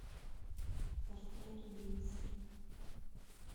портрет убийцы